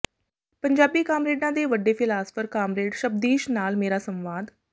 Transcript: ਪੰਜਾਬੀ ਕਾਮਰੇਡਾਂ ਦੇ ਵਡੇ ਫਿਲਾਸਫਰ ਕਾਮਰੇਡ ਸ਼ਬਦੀਸ਼ ਨਾਲ ਮੇਰਾ ਸੰਵਾਦ